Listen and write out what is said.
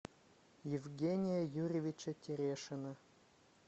евгения юрьевича терешина